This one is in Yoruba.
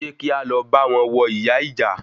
Ṣe kí álọ báwọn wọ ìyá ìjà?